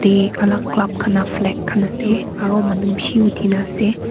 e alag club kana flag khan ase aro manu bishi uthi na ase.